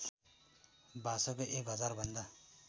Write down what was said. भाषाका एक हजारभन्दा